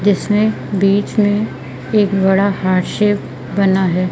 जिसमें बीच में एक बड़ा हार्ट शेप बना है।